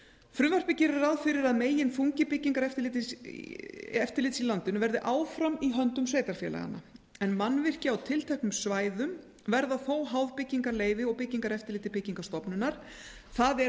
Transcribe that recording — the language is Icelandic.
gert ráð fyrir að meginþungi byggingareftirlits í landinu verði áfram í höndum sveitarfélaganna en mannvirki á tilteknum svæðum verða þó háð byggingarleyfi og byggingareftirliti byggingarstofnunar það er